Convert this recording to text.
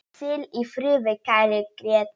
Hvíl í friði, kæri Grétar.